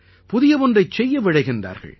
புதிய ஒன்றைச் செய்ய விழைகிறார்கள்